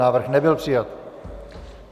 Návrh nebyl přijat.